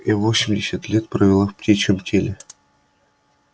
я восемьдесят лет провела в птичьем теле